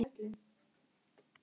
Ert þú á EM-flakki um Frakkland?